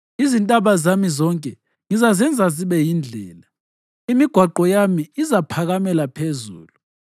Izintaba zami zonke ngizazenza zibe yizindlela, imigwaqo yami izaphakamela phezulu.